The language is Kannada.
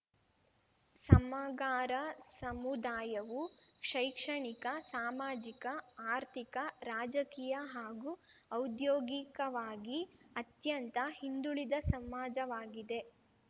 ಸಮಗಾರ ಸಮುದಾಯವು ಶೈಕ್ಷಣಿಕ ಸಾಮಾಜಿಕ ಆರ್ಥಿಕ ರಾಜಕೀಯ ಹಾಗೂ ಔದ್ಯೋಗಿಕವಾಗಿ ಅತ್ಯಂತ ಹಿಂದುಳಿದ ಸಮಾಜವಾಗಿದೆ